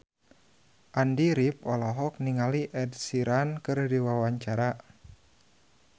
Andy rif olohok ningali Ed Sheeran keur diwawancara